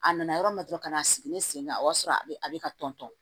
A nana yɔrɔ min na dɔrɔn ka na a sigilen sen ka o y'a sɔrɔ a bɛ a bɛ ka tɔn